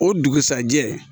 O dugusajɛ